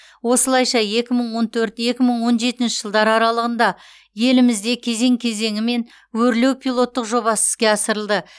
осылайша екі мың он төрт екі мың он жетінші жылдар аралығында елімізде кезең кезеңімен өрлеу пилоттық жобасы іске асырылды